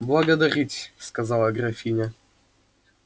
благодарить сказала графиня